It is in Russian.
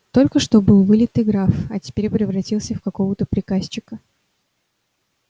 только что был вылитый граф а теперь превратился в какого-то приказчика